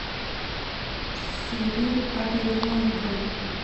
сири отмени мою бронь